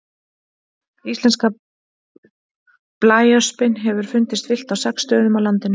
Íslenska blæöspin hefur fundist villt á sex stöðum á landinu.